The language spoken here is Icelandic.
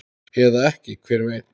Eða ekki, hver veit?